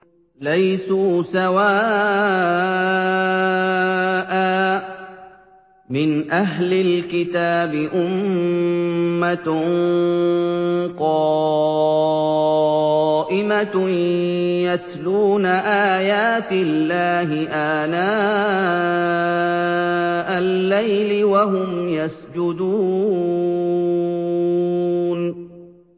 ۞ لَيْسُوا سَوَاءً ۗ مِّنْ أَهْلِ الْكِتَابِ أُمَّةٌ قَائِمَةٌ يَتْلُونَ آيَاتِ اللَّهِ آنَاءَ اللَّيْلِ وَهُمْ يَسْجُدُونَ